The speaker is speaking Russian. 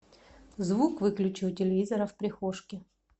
звук выключи у телевизора в прихожке